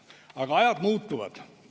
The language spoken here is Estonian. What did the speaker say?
Aga ajad muutuvad.